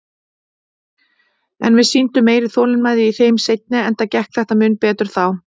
En við sýndum meiri þolinmæði í þeim seinni, enda gekk þetta mun betur þá.